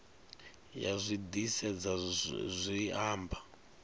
ya zwi disedza zwi amba